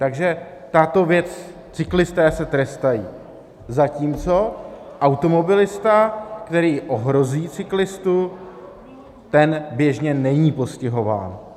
Takže tato věc, cyklisté se trestají, zatímco automobilista, který ohrozí cyklistu, ten běžně není postihován.